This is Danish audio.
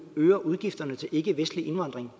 øger udgifterne til ikkevestlig indvandring